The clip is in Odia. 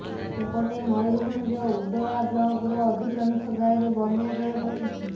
ସେପଟେ ମୟୂରଭଞ୍ଜ ଉଦଳା ବ୍ଲକର ଅଧିକାଂଶ ଗାଁରେ ବନ୍ୟା ଜଳ ପଶିଛି